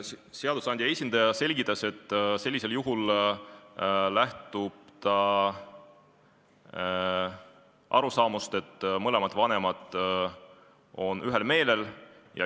Seadusandja esindaja selgitas, et üldiselt lähtutakse arusaamast, et mõlemad vanemad on ühel meelel.